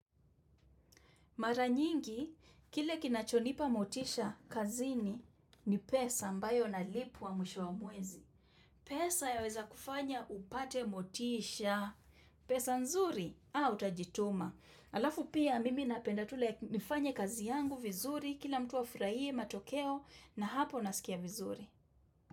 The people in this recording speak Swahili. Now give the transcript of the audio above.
Mara nyingi, kile kinachonipa motisha kazini ni pesa ambayo nalipwa mwisho wa mwezi. Pesa yaweza kufanya upate motisha, pesa nzuri, utajituma. Alafu pia mimi napenda tu nifanye kazi yangu vizuri kila mtu afurahie matokeo na hapo nasikia vizuri.